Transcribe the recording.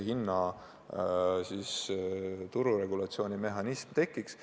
Hinna tururegulatsiooni mehhanism peab tekkima.